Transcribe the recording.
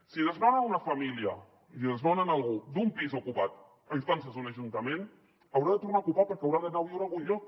si desnonen una família i desnonen algú d’un pis ocupat a instàncies d’un ajuntament haurà de tornar a ocupar perquè haurà d’anar a viure a algun lloc